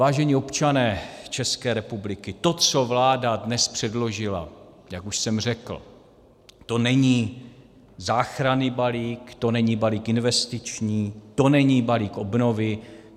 Vážení občané České republiky, to, co vláda dnes předložila, jak už jsem řekl, to není záchranný balík, to není balík investiční, to není balík obnovy.